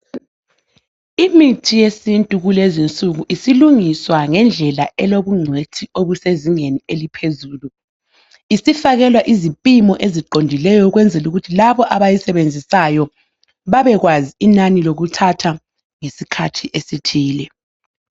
Imithi yesintu kulezi insuku isilungiswa ngendlela elobungcwethi obusezingeni eliphezulu. Isifakelwa izipimo eziqondileyo ukwenzela ukuthi labo abayisebenzisayo babekwazi inani lokuthatha ngesikhathi esithile.